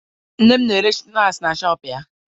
Nne m na-ere snaakị na shọọpụ ya